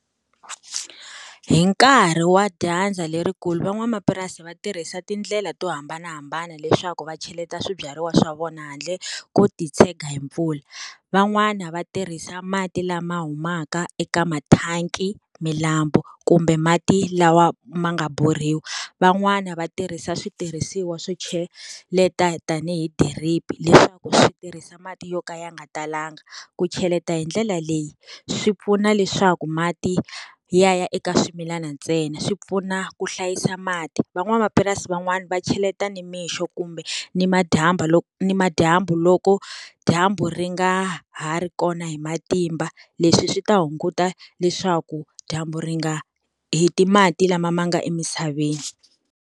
Hi nkarhi wa dyandza lerikulu van'wamapurasi va tirhisa tindlela to hambanahambana leswaku va cheleta swibyariwa swa vona handle ko titshega hi mpfula. Van'wana va tirhisa mati lama humaka eka mathanki, milambu kumbe mati lawa ma nga borhiwa. Van'wani va tirhisa switirhisiwa swo cheleta tanihi drip, leswaku swi tirhisa mati yo ka ya nga talanga. Ku cheleta hi ndlela leyi, swi pfuna leswaku mati ya ya eka swimilana ntsena, swi pfuna ku hlayisa mati. Van'wamapurasi van'wani va cheleta nimixo kumbe ni loko ni madyambu loko dyambu ri nga ha ri kona hi matimba, leswi swi ta hunguta leswaku dyambu ri nga heti mati lama ma nga emisaveni.